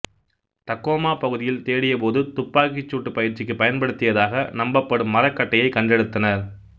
Tacoma பகுதியில் தேடிய போது துப்பாக்கி சூட்டு பயிற்சிக்கு பயன்படுத்தியதாக நம்பப்படும் மரக்கட்டையை கண்டெடுத்தனர்